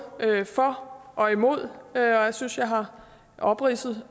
for og imod og jeg synes jeg har opridset